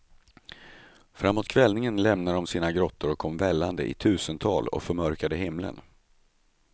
Framåt kvällningen lämnade de sina grottor och kom vällande i tusental och förmörkade himlen.